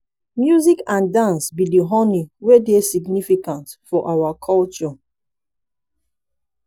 music and dance be di honey wey dey significance in our culture.